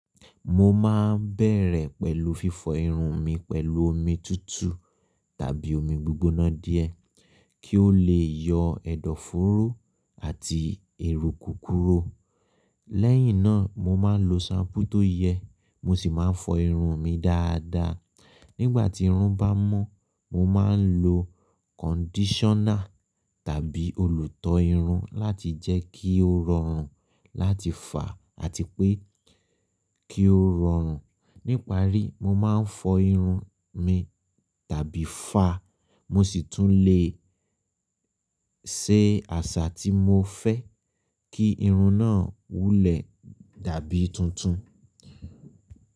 Mo ma n bẹ̀rẹ̀ pẹ̀lú fífọ irun mi pẹ̀lú omi tutu tàbí omi gbígbóná díẹ̀ kí ó lè yọ ẹ̀dọ̀fóró àti èrò kúkúrú. Lẹ́yìn náà, mo ma lo ṣampú tó yẹ, mo sì máa fọ irun mi dáadáa. Nígbà tí irun bá mọ́, mo ma lo kondíṣọ́nà tàbí olùtọ irun láti jẹ́ kí ó rọrùn láti fà àti pé kí ó rọrùn. Níparí, mo ma fọ irun mi tàbí fàá, mo sì tún le ṣe àṣà tí mo fẹ́ kí irun náà wúlẹ̀ dàbí tuntun.